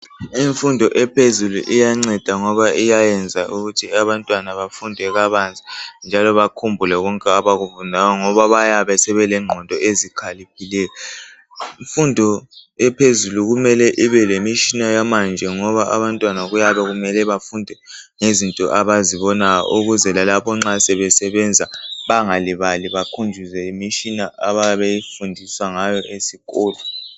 Imfundo ephezulu iyanceda ngoba yenza abantwana bafunde kabanzi njalo bakhumbule konke abakufundayo ngenxa yengqondo ezikhaliphileyo. Imfundo ephezulu mele ibelemitshina yamanje abantwana bafunde ngezinto abazibonayo ukuze lalapho nxa sebesebenza bangalibali bakhunjuzwe yimitshina abayabe befundiswe ngayo ezikolo.